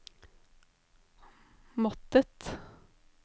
måttet